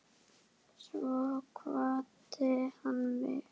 Svo kvaddi hann mig.